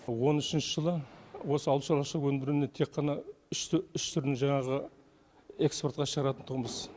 он үшінші жылы осы ауыл шаруашылығы өнімдерінің тек қана үш үш түрін жаңағы экспортқа шығаратын тұғынбыз